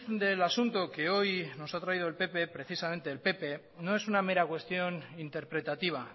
del asunto que hoy nos ha traído el pp precisamente el pp no es una mera cuestión interpretativa